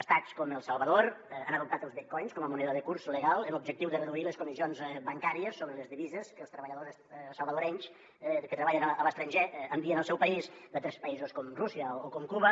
estats com el salvador han adoptat els bitcoins com a moneda de curs legal amb l’objectiu de reduir les comissions bancàries sobre les divises que els treballadors salvadorencs que treballen a l’estranger envien al seu país d’altres països com rússia o com cuba